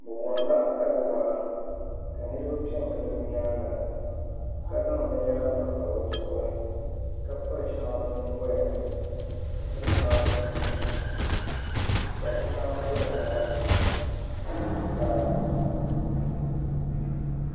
Bi worila kali waa ka niraba piɛ n gili bi nyaanga ka zaŋ binyɛra panpa bi zuɣuri ka piri shɛŋa bi nyingoya ni ka piri shɛŋa bi nuhuni ka shɛŋa bɛ bi naba ni ka